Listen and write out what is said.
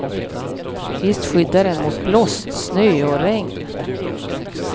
Visst skyddar den mot blåst, snö och regn.